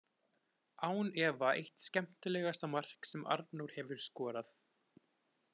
Án efa eitt skemmtilegasta mark sem Arnór hefur skorað!